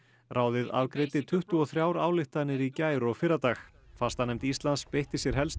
ráðið afgreiddi tuttugu og þrjár ályktanir í gær og fyrradag fastanefnd Íslands beitti sér helst